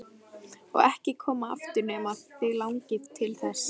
Og ekki koma aftur nema þig langi til þess.